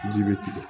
Ji be tigɛ